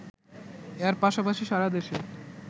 এর পাশাপাশি সারা দেশে